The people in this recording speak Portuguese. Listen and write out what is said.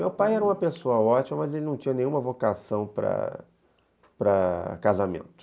Meu pai era uma pessoa ótima, mas ele não tinha nenhuma vocação para para para casamento.